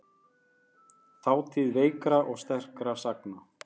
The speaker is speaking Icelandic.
Þátíð veikra og sterkra sagna.